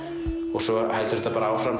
og svo heldur þetta bara áfram